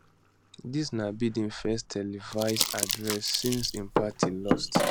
dis na biden first televised address since im party lost